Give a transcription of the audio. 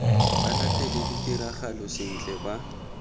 ba latele ditiragalo sentle ba